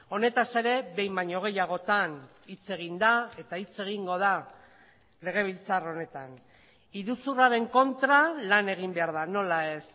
honetaz ere behin baino gehiagotan hitz egin da eta hitz egingo da legebiltzar honetan iruzurraren kontra lan egin behar da nola ez